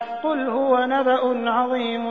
قُلْ هُوَ نَبَأٌ عَظِيمٌ